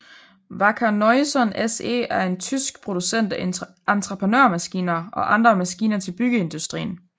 Wacker Neuson SE er en tysk producent af entreprenørmaskiner og andre maskiner til byggeindustrien